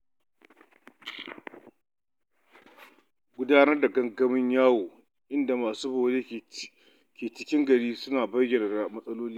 Gudanar da gangamin yawo inda masu bore ke bi cikin gari suna bayyana matsalolinsu.